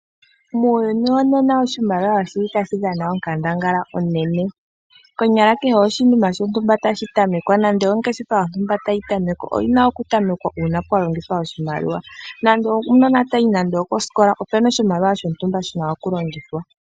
Muuyuni wonena oshimaliwa oshili tashi dhana onkandangala onene, konyala kehe oshinima shontumba tashi tamekwa nenge ongeshefa yontumba tayi tamekwa oyina okutamekwa uuna pwalongithwa oshimaliwa , nando omunona tayi nando koskola opuna oshimaliwa shontumba shina okulongithwa.